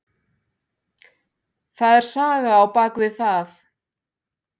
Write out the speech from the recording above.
Það er saga á bak við það.